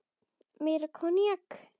Meira koníak?